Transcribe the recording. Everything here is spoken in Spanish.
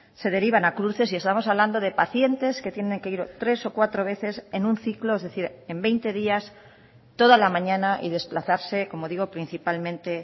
se derivan a cruces y estamos hablando de pacientes que tienen que ir tres o cuatro veces en un ciclo es decir en veinte días toda la mañana y desplazarse como digo principalmente